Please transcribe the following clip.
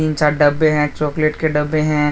सात डब्बे हैं चॉकलेट के डब्बे हैं।